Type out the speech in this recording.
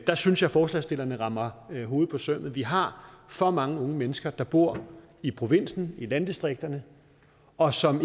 der synes jeg forslagsstillerne rammer hovedet på sømmet vi har for mange unge mennesker der bor i provinsen i landdistrikterne og som